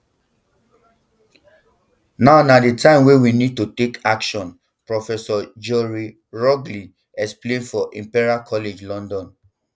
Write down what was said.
now na di time wey we need to take action prof joeri rogelj explain for imperial college london